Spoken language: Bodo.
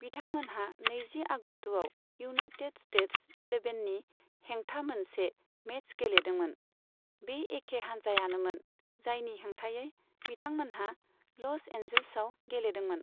बिथांमोनहा नैजि आगस्तआव इउनाइटेट स्टेट्स एलेभेननि हेंथा मोनसे मेच गेलेदोंमोन, बे एखे हानजायानोमोन जायनि हेंथायै बिथांमोनहा ल'स एन्जिल्सआव गेलेदोंमोन।